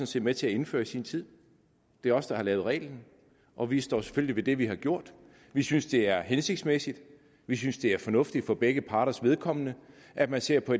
set med til at indføre i sin tid det er os der har lavet reglen og vi står selvfølgelig ved det vi har gjort vi synes det er hensigtsmæssigt og vi synes det er fornuftigt for begge parters vedkommende at man ser på